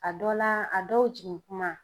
A dɔ la a dɔw jigin kuma